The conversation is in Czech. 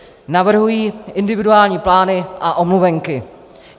Navrhuji individuální plány a omluvenky.